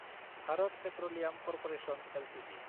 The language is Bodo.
Bharat petroleum corporation Ltd